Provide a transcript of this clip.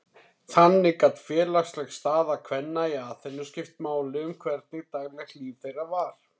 Þannig gat félagsleg staða kvenna í Aþenu skipt máli um hvernig daglegt líf þeirra var.